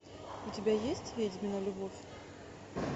у тебя есть ведьмина любовь